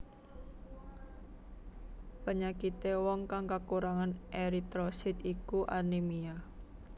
Penyakité wong kang kakurangan eritrosit iku anemia